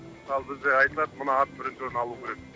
мысалы бізде айтады мына ат бірінші орын алу керек